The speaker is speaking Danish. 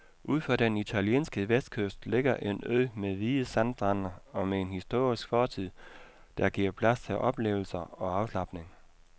Ud for den italienske vestkyst ligger en ø med hvide sandstrande og med en historisk fortid, der giver plads til oplevelser og afslapning.